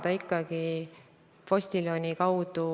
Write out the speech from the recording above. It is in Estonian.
Teatavasti on meditsiini valdkond väga tundlik isikuandmete kasutamise suhtes.